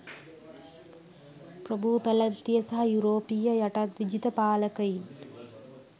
ප්‍රභූ පැලැන්තිය සහ යුරෝපීය යටත් විජිත පාලකයින්